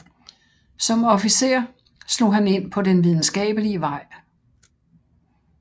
Som officer slog han ind på den videnskabelige vej